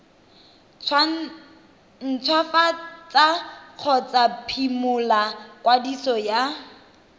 ntshwafatsa kgotsa phimola kwadiso ya